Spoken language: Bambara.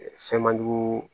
Fɛn man jugu